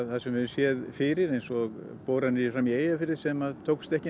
það sem við höfum séð fyrir eins og boranir frammi í Eyjafirði sem tókust ekki